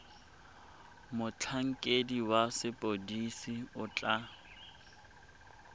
motlhankedi wa sepodisi o tla